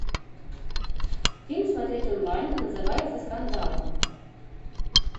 фильм смотреть онлайн называется скандал